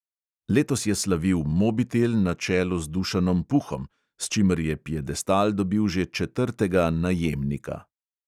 Letos je slavil mobitel na čelu z dušanom puhom, s čimer je piedestal dobil že četrtega "najemnika".